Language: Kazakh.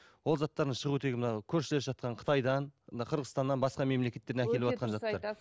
ол заттардың шығу тегі мына көршілес жатқан қытайдан мына қырғызстаннан бысқа мемлекеттерден